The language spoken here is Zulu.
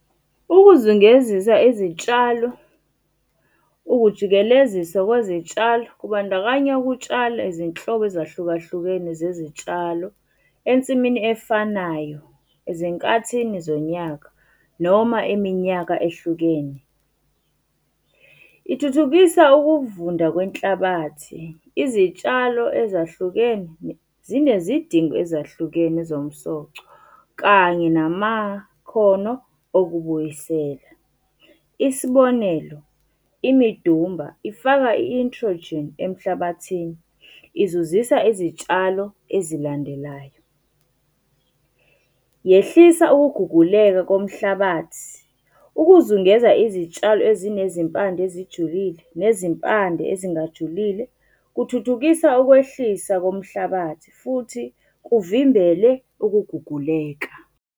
Ukuzungezisa izitshalo, ukujikeleziswa kwezitshalo kubandakanya ukutshala izinhlobo ezahlukahlukene zezitshalo ensimini efanayo ezinkathini zonyaka noma iminyaka ehlukene. Ithuthukisa ukuvunda kwenhlabathi, izitshalo ezahlukene, zinezidingo ezahlukene zomsoco kanye namakhono okubuyisela. Isibonelo, imidumba ifaka i-introgene emhlabathini, izuzisa izitshalo ezilandelayo. Yehlisa ukuguguleka komhlabathi. Ukuzungeza izitshalo ezinezimpande ezijulile, nezimpande ezingajulile, kuthuthukisa ukwehlisa komhlabathi futhi kuvimbele ukuguguleka.